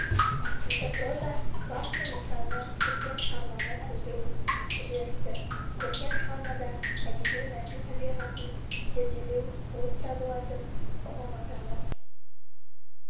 метапроза басты нысаны көркем шығарманы тудыру үдерісі көркем шығармада әдеби мәтін табиғатын зерделеу болып табылатын ұғым атауы